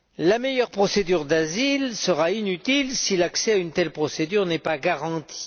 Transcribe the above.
La meilleure procédure d'asile sera inutile si l'accès à une telle procédure n'est pas garanti.